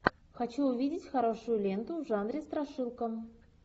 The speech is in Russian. хочу увидеть хорошую ленту в жанре страшилка